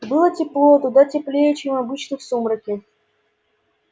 было тепло куда теплее чем обычно в сумраке